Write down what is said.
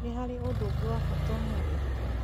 Nĩ harĩ ũndũ ũngĩ wa bata ũmũthĩ